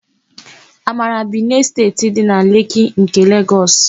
Amara bi n'Esteeti dị na Leki nke Legọs.